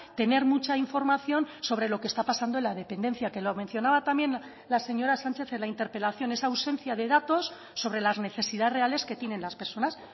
tener mucha información sobre lo que está pasando en la dependencia que lo mencionaba también la señora sánchez en la interpelación esa ausencia de datos sobre las necesidades reales que tienen las personas